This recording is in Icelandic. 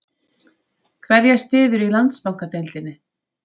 Hverja styðurðu í Landsbankadeildinni?